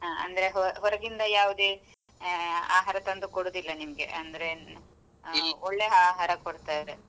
ಆ ಅಂದ್ರೆ ಹೊ~ ಹೊರಗಿಂದ ಯಾವುದೇ ಆ ಆಹಾರ ತಂದು ಕೊಡುದಿಲ್ಲ ನಿಮ್ಗೆ ಅಂದ್ರೆ ಒಳ್ಳೆ ಆಹಾರ ಕೊಡ್ತಾರೆ?